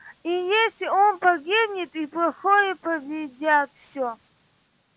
и если он погибнет и плохое победят всё